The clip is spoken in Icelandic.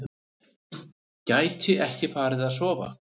Gæti ekki farið að sofa.